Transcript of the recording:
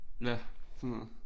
Ja sådan noget